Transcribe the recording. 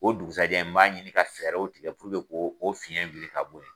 O dugusɛjɛ n b'a ɲini ka fɛɛrɛw tigɛ puruke ko o fiyɛn wuli ka bo ye.